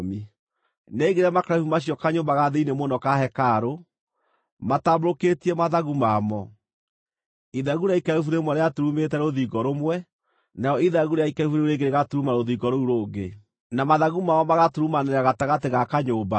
Nĩaigire makerubi macio kanyũmba ga thĩinĩ mũno ka hekarũ, matambũrũkĩtie mathagu mamo. Ithagu rĩa ikerubi rĩmwe rĩaturumĩte rũthingo rũmwe, narĩo ithagu rĩa ikerubi rĩu rĩngĩ rĩgaturuma rũthingo rũu rũngĩ. Na mathagu mamo magaturumanĩra gatagatĩ ga kanyũmba.